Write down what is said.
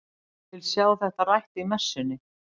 Vil sjá þetta rætt í messunni!